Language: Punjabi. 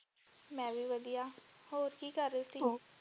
ਮੈਂ ਵੀ ਵਧੀਆ ਹੋਰ ਕੀ ਕਰ ਰਹੇ ਸੀ ਹੋ।